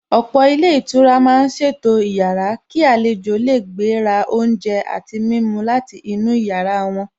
Ọ̀pọ̀ ilé ìtura màá ṣètò ìyára kí àlejò lè gbé ra oúnjẹ àti mímu láti inú yàrá wọn.